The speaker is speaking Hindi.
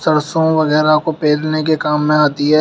सरसों वगैरा को पेरने के काम में आती है।